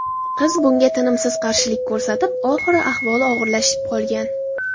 Qiz bunga tinimsiz qarshilik ko‘rsatib, oxiri ahvoli og‘irlashib qolgan.